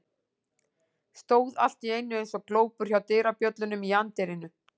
Stóð allt í einu eins og glópur hjá dyrabjöllunum í anddyrinu.